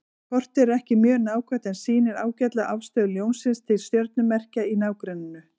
Kortið er ekki mjög nákvæmt en sýnir ágætlega afstöðu Ljónsins til stjörnumerkja í nágrenninu.